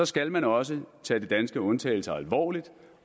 skal man også tage de danske undtagelser alvorligt